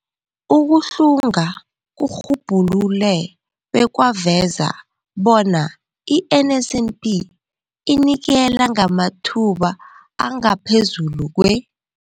Ukuhlunga kurhubhulule bekwaveza bona i-NSNP inikela ngamathuba angaphezulu kwe-